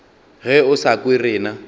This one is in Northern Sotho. ge o sa kwe rena